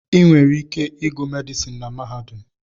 Ị nwere ike ịgụ medịsịn na mahadum